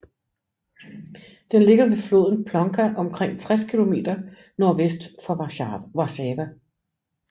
Den ligger ved floden Płonka omkring 60 kilometer nordvest for Warszawa